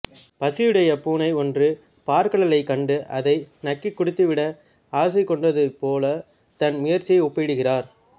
பசியுடைய பூனை ஒன்று பாற்கடலைக் கண்டு அதை நக்கிக் குடித்துவிட ஆசைகொண்டதுபோல தன் முயற்சியை ஒப்பிடுகிறார்